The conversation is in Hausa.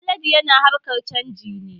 Haladu yana harkar canji ne